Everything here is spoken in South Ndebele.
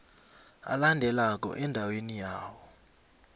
alandelako endaweni yawo